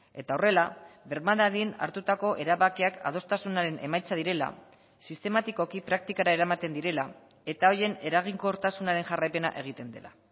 eta horrela berma dadin hartutako erabakiak adostasunaren emaitza direla sistematikoki praktikara eramaten direla eta horien eraginkortasunaren jarraipena egiten dela